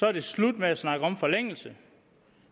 er det slut med at snakke om forlængelse